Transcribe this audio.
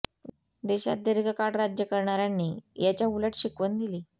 देशात दीर्घकाळ राज्य करणार्यांनी याच्या उलट शिकवण दिली